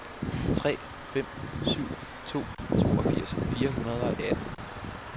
tre fem syv to toogfirs fire hundrede og atten